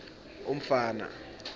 umfana